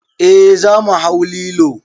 Eh za mu hau lilo.